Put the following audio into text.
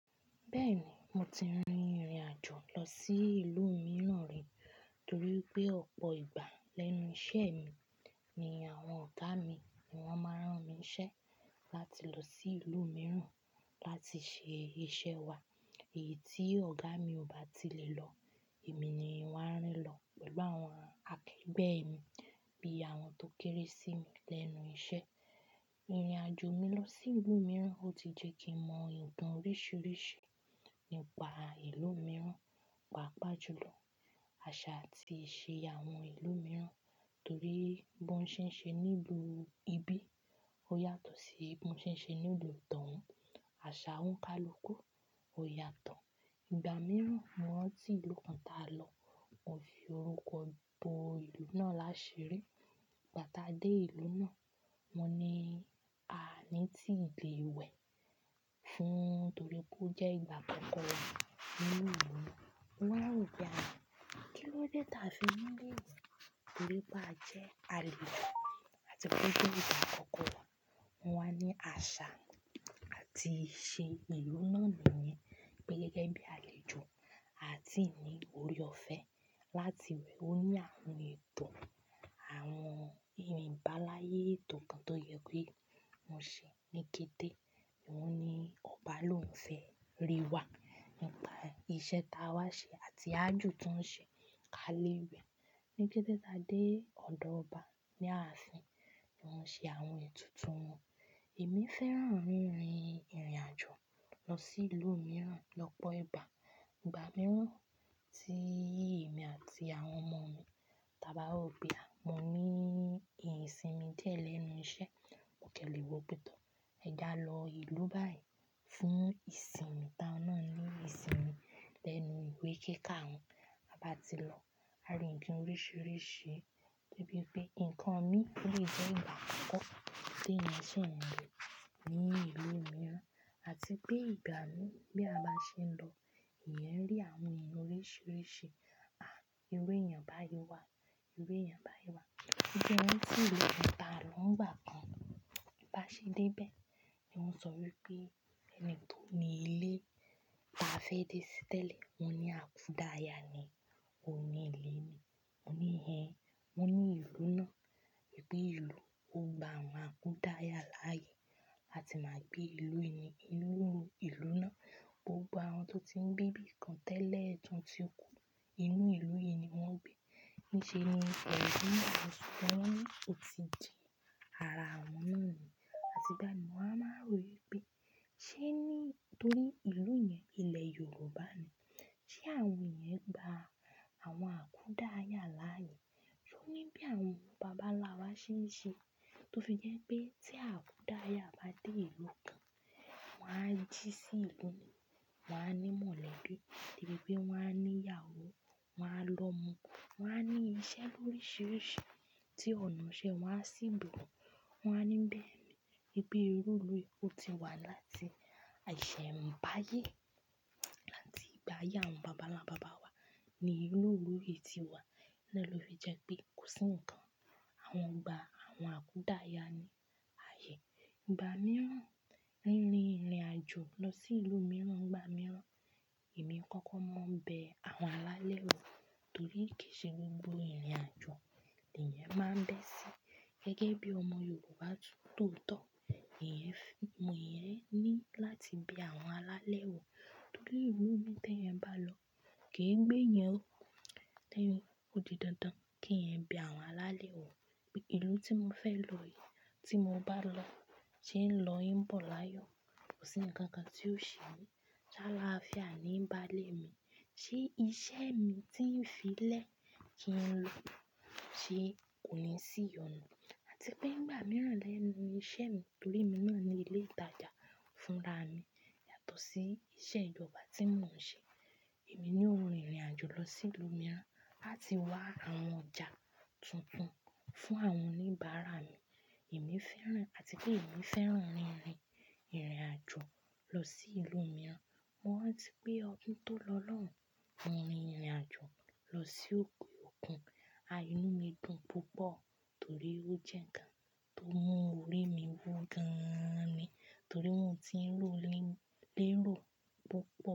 Bẹ́ẹ̀ni, mo ti rìnrìn àjò lọ sí ìlú mìíràn rí torí pé ọ̀pọ̀ ìgbà lẹ́nu iṣẹ́ mi ni àwọn ọ̀gá mi ni wọ́n máa rán mi ṣẹ́ láti lọ sí ìlú mìíràn láti ṣe iṣẹ́ wa. Èyí tí ọ̀gá mi ò bá ti lè lọ, èmi ni wọ́n á rán lọ pẹ̀lú àwọn akẹgbẹ́ mi bí i àwọn tó kéré sí mi lẹ́nu iṣẹ́. Ìrìn àjò mi lọ sí ìlú mìíràn ó ti jẹ́ kí mọ nkan oríṣiríṣi nípa ìlú mìíràn, pàápàá jùlọ àṣà àti ìṣe àwọn ìlú mìíràn. Torí bí wọ́n ṣe ń ṣe ní ìlú ibí ó yàtọ̀ sí bí wọ́n ṣe ń ṣe ní ìlú tí òun. Àṣà òǹkà luku ó yàtọ̀. Ìgbà mìíràn, mo rántí ìlú kan táa lọ, mo fi orúkọ gbo ìlú náà láṣirí. Ìgbà táa dé ìlú náà, wọ́n ní a ò ní ti le wẹ̀ fún torí pé ó jẹ́ ìgbà àkọ́kọ́ wa ní ìlú yìí. Mo wá rò pé há, kí ló dé tí a fi ní lè wẹ̀?" Torí pé a jẹ́ àlejò àti pé ó jẹ́ ìgbà àkọ́kọ́ wa. Wọn wá ní àṣà àti ìṣe ìlú náà nìyẹn pé gẹ́gẹ́ bí àlejò, a tii ní ọ̀rẹ́ ọ̀fẹ́ láti wẹ̀. Ó ní àwọn ètò, àwọn ìrìnbáláyé ètò kan tó yẹ pé wóń ṣe ní kété. Òun ní ọba ló ń fẹ́ rí wa nípà ìṣe táa wá ṣe àti àjò tó ń ṣe ká lé wẹ̀. Ni gbẹ́tẹ́gbẹ́ táa dé ọ̀dọ̀ ọba ní ààfin, ni wọ́n ṣe àwọn ètùtù wọn. Èmi fẹ́ràn rìnrìn ìrìn àjò lọ sí ìlú mìíràn lọ́pọ̀ ìgbà. Ìgbà mìírán tí èmi àti àwọn ọmọ mi táa bá wo pé ah mo ní ìsinmi díẹ̀ lẹ́nu iṣẹ́, mo kẹ́lẹ̀ wọ pẹ̀tọ́ ẹ já lọ ìlú báyìí fún ìsinmi táa wọn náà ní ìsinmi lẹ́nu ìwé kíka wọn. Tí a bá ti lọ, a rí ohun oríṣiríṣi dé bí pé ǹkan mi ní ilé jẹ́ ìgbà àkọ́kọ́ tí èèyàn sì ń rí ní ìlú mìíràn àti pé ìgbà mi bí a bá ṣe ń lọ, ẹ̀yàn rí àwọn èèyàn oríṣiríṣi. À, irú èèyàn báyìí wà, irú èèyàn báyìí wà. Ó jẹ́ kín rántí ìlú kan ta lọ́ nígbà kan bá ṣe dé bẹ́ẹ̀ ni wọ́n sọ wípé ẹni tó ní ilé ta fẹ́ dé sí tẹ́lẹ̀, wọ́n ní àkúdàáyà ni ó ní ilé ni. Mo ní "Ẹ̀hen." Wọn ní ìlú náà, pé ìlú ò gbà àwọn akúdàáyà láàyè làti máa gbé ìlú yìí ní inú ìlú náà. Gbogbo àwọn tó ti ń gbé ibìkan tẹ́lẹ̀ tí wọ́n ti kú inú ìlú yìí ni wọ́n ń gbé. Níṣe ni wọ́n sọ wípé wọ́n ò tí ì jẹ àrà àwọn náà mì. Àti bá mi mo wá máa ń rò wí pé ṣé ní torí ìlú yẹn, ilẹ̀ Yorùbá ni, ṣé àwọn yẹn gba àwọn àkúdàáyà láàyè? Wọn ní pé àwọn bàbá ńlá wa ṣé ń ṣe. Tó fi jẹ́ pé tí àkúdàáyà bá dé ìlú kan, wọ́n á jí sí igun, wọ́n á ní mọ̀lẹ́bí tẹ́lẹ̀ pé wọ́n á ní ìyàwó, wọ́n á lọ mo, wọ́n á ní iṣẹ́ oríṣiríṣi tí ọ̀nà ṣe wọ́n á sì gbọ̀orọ. Wọn á ní bẹ́ẹ̀ ni. Pé ìlú yìí ó ti wà láti àìṣẹ̀ ń bá ayé àti gbá ayé àwọn bàbá ńlá bàbá wa ni irú ìlú yìí ti wà. Torí ẹ ló fi jẹ́ pé kò sí ǹkan. Àwọn gba àwọn àkúdàáyà ni ààyè. Ìgbà mìíràn níní ìrìn àjò lọ sí ìlú mìíràn, ìgbà mìíràn èmi kọ́kọ́ máa ń bẹ àwọn alálẹ̀ wò torí kí í ṣe gbogbo ìrìn àjò ni èèyàn máa ń bẹ́ sí. Gẹ́gẹ́ bí ọmọ Yorùbá tóotọ̀, èèyàn fún, èèyàn ní láti bẹ àwọn alálẹ̀ wò. Torí ìlú mi tí èèyàn bá lọ kì í gbé yẹn o. Tí èèyàn ò di dandan kí ẹ̀ ń bẹ àwọn alálẹ̀ wò. Ìlú tí mo fẹ́ lọ yìí tí mo bá lọ, tí ń lọ yìí ń bọ̀ láyọ̀, kò sí ǹkan kan tí ó ṣe mí. Tí aláàfíà ni ń ba lé mi, ṣé iṣẹ́ mi tí ń fi lẹ́ kí ń lọ ṣe kò ní sí ìyọnu àti pé nìgbà mìíràn lẹ́nu iṣẹ́ mi torí èmi náà ní ilé ìtajà fúnra mi yàtọ̀ sí iṣẹ́ ìjọba tí mò ń ṣe. Èmi ni ó ń rìnrìn àjò lọ sí ìlú mìíràn àti wá àwọn ọjà tuntun fún àwọn oníbàárà mi. Èmi fẹ́ràn àti pé èmi fẹ́ràn rìnrìn ìrìn àjò lọ sí ìlú mìíràn. Mo rántí pé ọdún tó lọ lọ́hùn, mo rin ìrìn àjò lọ sí òkè òkun. A inú mi dùn púpọ̀ torí ó jẹ́ ǹkan tó mú orí mi wú gan-an ni torí mo ti ń lrò lérò púpọ̀